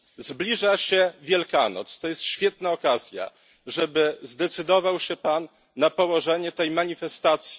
Zbliża się Wielkanoc to jest świetna okazja, żeby zdecydował się Pan położyć kres tej manifestacji.